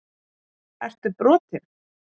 Ertu brotinn??!